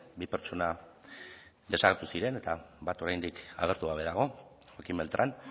bi pertsona desagertu ziren eta bat oraindik agertu gabe dago joaquín beltrán